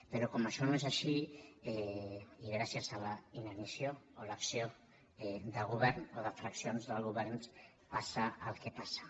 però com que això no és així i gràcies a la inanició o a l’acció de govern o de fraccions de governs passa el que passa